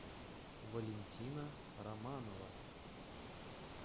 валентина романова